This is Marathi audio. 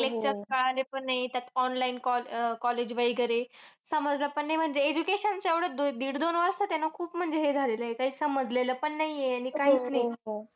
काही lectures कळाले पण नाही. त्यात online col~ अह college वगैरे. समजलं पण नाही म्हणजे education चे एवढे दिडदोन वर्षात आहे ना खूप म्हणजे हे झालेलंय. काही समजलेलं पण नाही आहे. आणि काहीच नाही.